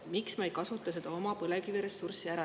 Miks me ei kasuta oma põlevkiviressurssi ära?